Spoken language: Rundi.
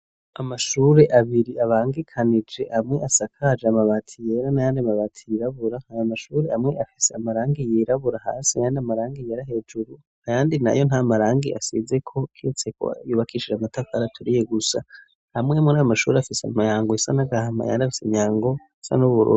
Amashuri abiri, abangikanije amwe asakaje Amabati yera, na yandi mabati yirabura, ayo Mashuri amwe afise Amarangi yirabura, hasi ayandi Amarangi hejuru, ayandi nayo nta Marangi asizeko kiretseko yubakishije Amatafari aturiye gusa, amwe murayo mashuri afise Imyango isa n'Agahama yandafise Imyango isa n'Ububuru.